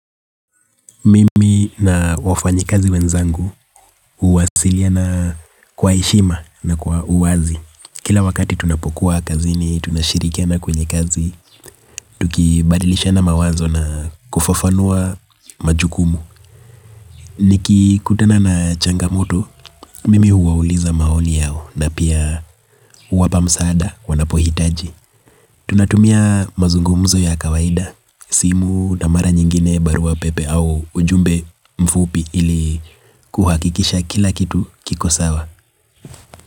Mimi na wafanyikazi wenzangu uwasiliana kwa heshima na kwa uwazi. Kila wakati tunapokuwa kazini, tunashirikiana kwenye kazi, tukibadilishana mawazo na kufafanua majukumu. Nikikutana na changamoto, mimi huwauliza maoni yao na pia, huwapa msaada wanapohitaji. Tunatumia mazungumzo ya kawaida. Simu na mara nyingine barua pepe au ujumbe mfupi ili kuhakikisha kila kitu kiko sawa.